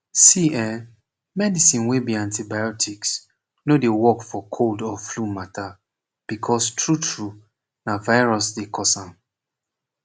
see eh medicine wey be antibiotics no dey work for cold or flu mata becoz tru tru na virus dey cause am